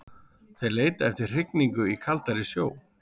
Þeir leita eftir hrygningu í kaldari sjó.